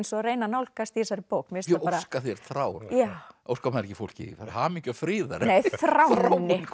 og að reyna að nálgast í þessari bók ég óska þér þrár óskar maður ekki fólki hamingju og friðar nei þrár